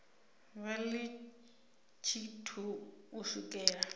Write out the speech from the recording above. vha ḽi tshithu u swikela